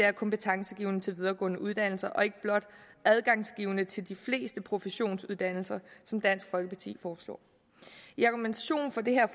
er kompetencegivende til videregående uddannelse og ikke blot adgangsgivende til de fleste professionsuddannelser som dansk folkeparti foreslår i argumentationen for det her